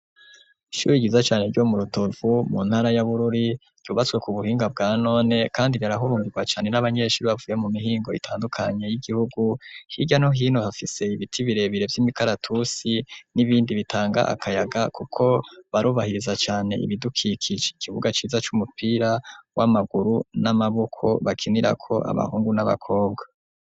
Ishuri ryiza cane ryo mu Rutovu mu ntara ya Bururi ryubatswe ku buhinga bwa none, kandi rirahurumbirwa cane n'abanyeshuri bavuye mu mihingo itandukanye y'igihugu hirya no hino, hafise ibiti birebire vy'imikaratusi n'ibindi bitanga akayaga kuko barubahiriza cane ibidukikije ,ikibuga ciza c'umupira w'amaguru n'amaboko bakinirako abahungu n'abakobwa.